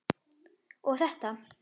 og þetta